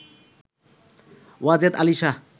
Wazed Ali Shah